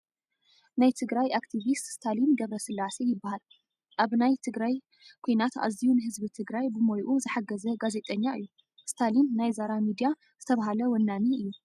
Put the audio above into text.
ናይ ትግራት ኣክቲቪስት ስታሊን ገ/ስላሴ ይበሃል ኣብ ናይ ትግራይ ኪናት ኣዝዮ ንህዝቢ ትግራይ ብሞይኡ ዝሓገዘ ጋዜጠኛ እዩ። እስታሊን ናይ ዛራ ሚድያ ዝተባሃለ ወናኒ እዩ።